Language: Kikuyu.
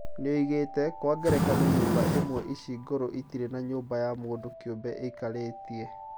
Nĩoigĩte "Kwa ngerekano nyũmba imwe ici ngũrũ itirĩ na nyũmba ya mũndũ kĩũmbe ĩikarĩtie"